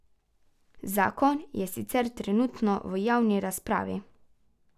Zakon je sicer trenutno v javni razpravi.